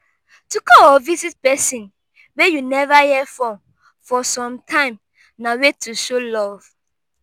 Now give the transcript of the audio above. to call or visit persin wey you never hear from for sometime na way to show love